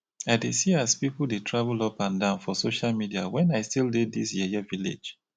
i dey see as pipu dey travel up and down for social media wen i still dey dis yeye village.